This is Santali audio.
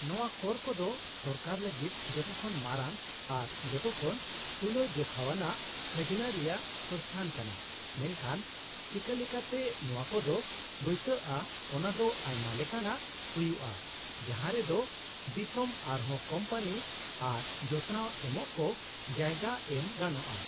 -ᱱᱚᱶᱟ ᱠᱚᱨ ᱠᱚᱫᱚ ᱥᱚᱨᱠᱟᱨ ᱞᱟᱹᱜᱤᱫ ᱡᱚᱛᱚᱠᱷᱚᱱ ᱢᱟᱨᱟᱝ ᱟᱨ ᱡᱚᱛᱚᱠᱷᱚᱱ ᱛᱩᱞᱟᱹᱡᱚᱠᱷᱟᱣᱟᱱᱟᱜ ᱠᱷᱟᱡᱱᱟ ᱨᱮᱭᱟᱜ ᱥᱚᱝᱥᱛᱷᱟᱱ ᱠᱟᱱᱟ ᱢᱮᱱᱠᱷᱟᱱ ᱪᱤᱠᱟᱹᱞᱮᱠᱟᱛᱮ ᱱᱚᱶᱟ ᱠᱚᱫᱚ ᱵᱟᱹᱭᱥᱟᱹᱜᱼᱟ ᱚᱱᱟ ᱫᱚ ᱟᱭᱢᱟ ᱞᱮᱠᱟᱱᱟᱜ ᱦᱩᱭᱩᱜᱼᱟ ᱡᱟᱦᱟᱸ ᱨᱮ ᱫᱚ ᱫᱤᱥᱚᱢ ᱟᱨᱦᱚᱸ ᱠᱳᱢᱯᱟᱱᱤ ᱟᱨ ᱡᱚᱛᱱᱟᱣ ᱮᱢᱚᱜ ᱠᱚ ᱡᱟᱭᱜᱟ ᱮᱢ ᱜᱟᱱᱚᱜᱼᱟ ᱾